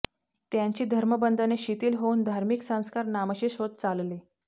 त्यांची धर्मबंधने शिथिल होऊन धार्मिक संस्कार नामशेष होत चालले